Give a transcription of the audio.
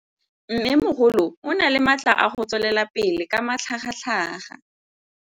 Mmêmogolo o na le matla a go tswelela pele ka matlhagatlhaga.